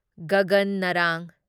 Gagan Narang